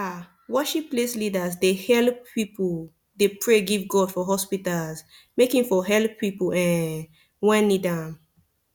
aah worship place leaders dey helep pipu dey pray give god for hospitas make him for helep pipu um wen need am